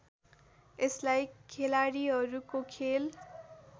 यसलाई खेलाड़ीहरूको खेल